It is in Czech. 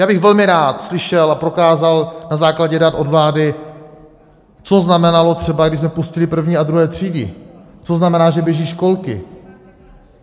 Já bych velmi rád slyšel a prokázal na základě dat od vlády, co znamenalo třeba, když jsme pustili první a druhé třídy, co znamená, že běží školky.